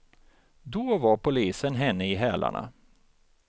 Då var polisen henne i hälarna.